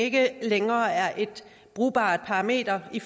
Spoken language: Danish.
ikke længere er et brugbart parameter i